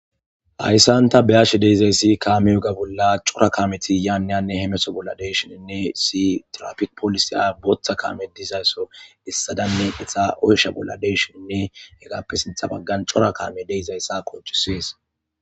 Hayisani ta beyashe dizayisi kame oge bola Cora kameti Hanne ha hameto bola dishini issi tirapike botha kameti hemetizaso oyisha bola deizayisanne hegappe sintha bagani cora kameti deizayisa qonicisesi